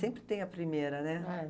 Sempre tem a primeira, né? É.